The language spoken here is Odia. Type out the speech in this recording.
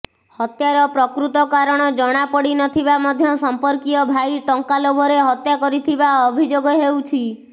ହତ୍ୟାର ପ୍ରକୃତ କାରଣ ଜଣାପଡ଼ିନଥିବା ମଧ୍ୟ ସମ୍ପର୍କୀୟ ଭାଇ ଟଙ୍କା ଲୋଭରେ ହତ୍ୟା କରିଥିବା ଅଭିଯୋଗ ହେଉଛି